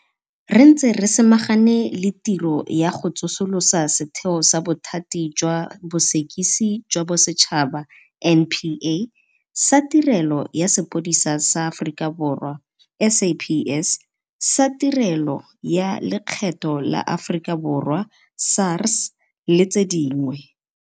Re ntse re samagane le tiro ya go tsosolosa setheo sa Bothati jwa Bosekisi jwa Bosetšhaba, NPA. Sa Tirelo ya Sepodisi sa Aforika Borwa, SAPS, sa Tirelo ya Lekgetho la Aforika Borwa, SARS, le tse dingwe.